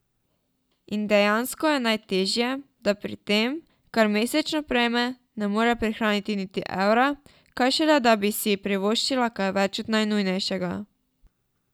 In dejansko je najtežje, da pri tem, kar mesečno prejme, ne more prihraniti niti evra, kaj šele da bi si privoščila kaj več od najnujnejšega.